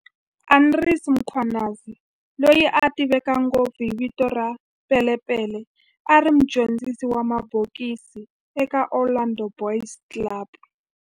Andries Mkhwanazi, loyi a tiveka ngopfu hi vito ra"Pele Pele", a ri mudyondzisi wa mabokisi eka Orlando Boys Club